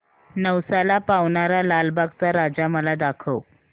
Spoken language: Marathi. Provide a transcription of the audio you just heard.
नवसाला पावणारा लालबागचा राजा मला दाखव